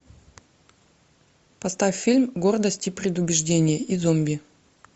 поставь фильм гордость и предубеждение и зомби